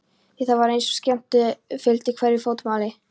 Það var eins og skemmdarfýsnin fylgdi hverju fótmáli.